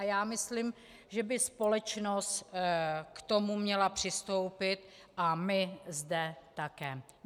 A já myslím, že by společnost k tomu měla přistoupit a my zde také.